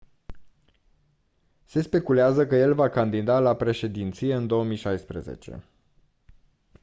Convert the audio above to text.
se speculează că el va candida la președinție în 2016